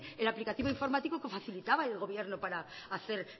el aplicativo informático que facilitaba el gobierno para hacer